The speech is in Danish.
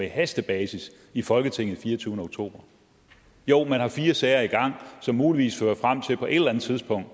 hastebasis i folketinget den fireogtyvende oktober jo man har fire sager i gang som muligvis på et eller andet tidspunkt